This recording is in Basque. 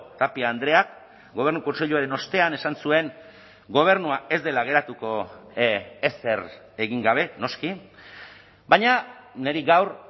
tapia andreak gobernu kontseiluaren ostean esan zuen gobernua ez dela geratuko ezer egin gabe noski baina niri gaur